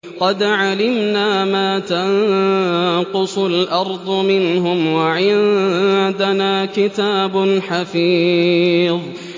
قَدْ عَلِمْنَا مَا تَنقُصُ الْأَرْضُ مِنْهُمْ ۖ وَعِندَنَا كِتَابٌ حَفِيظٌ